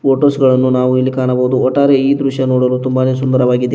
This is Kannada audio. ಫೋಟೋಸ್ ಗಳನ್ನು ನಾವು ಇಲ್ಲಿ ಕಾಣಾಬವುದು ಒಟ್ಟಾರೆ ಈ ದೃಶ್ಯ ತುಂಬನೇ ಸುಂದರವಾಗಿದೆ.